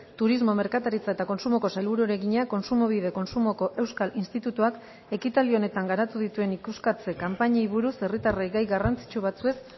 turismo merkataritza eta kontsumoko sailburuari egina kontsumobide kontsumoko euskal institutuak ekitaldi honetan garatu dituen ikuskatze kanpainei buruz herritarrei gai garrantzitsu batzuez